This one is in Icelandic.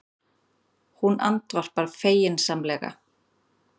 Hún andvarpar feginsamlega.